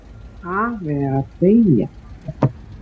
Afi er að deyja.